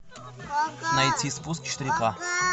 найти спуск четыре ка